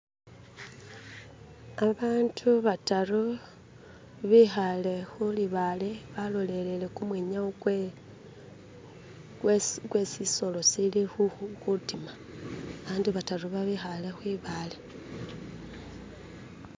Abantu badatu bikaale kulibale balolelele gumwinyawo gweshisolo ishili kudima. Abantu badatu abikale kwibale